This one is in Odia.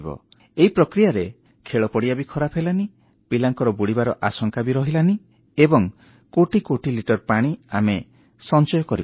ଏଇ ପ୍ରକ୍ରିୟାରେ ଖେଳପଡ଼ିଆ ଖରାପ ବି ହେଲାନି ପିଲାଙ୍କର ବୁଡ଼ିଯିବାର ଆଶଙ୍କା ରହିଲା ନାହିଁ ଏବଂ କୋଟି କୋଟି ଲିଟର ପାଣି ଆମେ ବଞ୍ଚେଇ ପାରିଲୁ